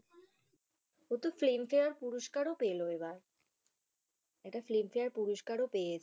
ও তো film fair পুরুস্কার ও পেল এবার। এটা film fair এটা পুরুস্কার পেয়েছে।